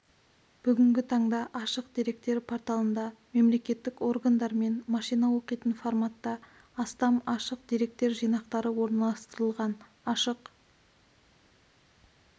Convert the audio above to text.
бүгінгі таңда ашық деректер порталында мемлекеттік органдармен машина оқитын форматта астам ашық деректер жинақтары орналастырылған ашық